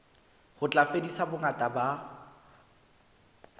ho tla fedisa bongata ba